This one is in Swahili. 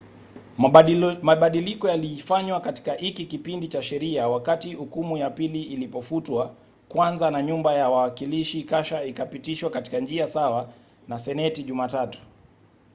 mabadiliko yalifanywa katika hiki kipindi cha sheria wakati hukumu ya pili ilipofutwa kwanza na nyumba ya wawakilishi kasha ikapitishwa katika njia sawa na seneti jumatatu